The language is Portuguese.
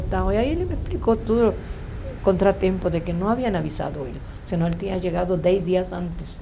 Aí ele me explicou tudo, contra tempo de que não haviam avisado ele, senão ele tinha chegado dez dias antes.